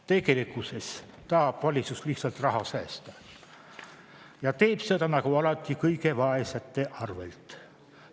Tegelikkuses tahab valitsus lihtsalt raha säästa ja teeb seda nagu alati kõige vaesemate arvelt.